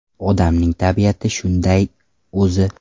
Odamning tabiati shunday o‘zi.